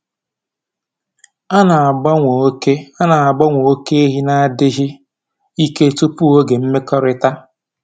A na-agbanwe oke A na-agbanwe oke ehi n'adịghị ike tupu oge mmekọrịta.